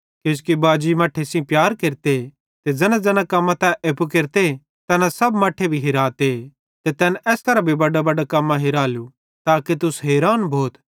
किजोकि बाजी मट्ठे सेइं प्यार केरते ते ज़ैनाज़ैना कम्मां तै एप्पू केरते तैना सब मट्ठे भी हिराते ते तैन एस करां भी बड्डां कम्मां हिरालू ताके तुस हैरान भोथ